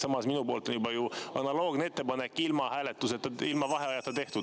Samas minu poolt oli juba ju analoogne ettepanek ilma vaheajata tehtud.